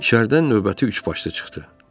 İçəridən növbəti üçbaşlı çıxdı.